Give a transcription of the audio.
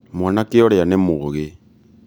mwanake ũũrĩa nĩ mũgĩ